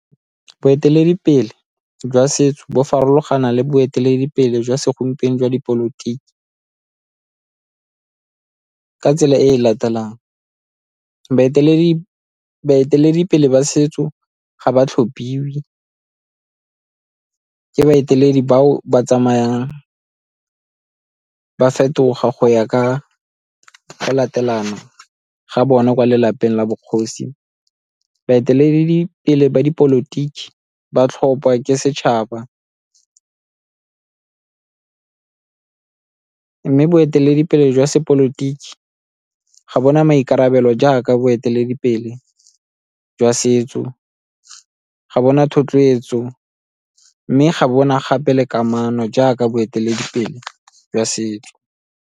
Boeteledipele jwa setso bo farologana le boeteledipele jwa segompieno jwa dipolotiki ka tsela e e latelang, baeteledipele ba setso ga ba tlhophiwe ke baeteledi bao ba tsamayang ba fetoga go ya ka go latelana ga bona ko lelapeng la bogosi. Baeteledipele ba dipolotiki ba tlhopha ke setšhaba, mme boeteledipele jwa sepolotiki ga bo na maikarabelo jaaka boeteledipele jwa setso, ga bo na thotloetso, mme ga bo na gape le kamano jaaka boeteledipele jwa setso.